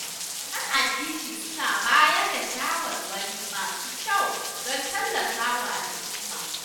Malaman addini suna bayar da shawarwari masu kyau don tallafa wa al'umma